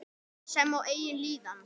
Sem og eigin líðan.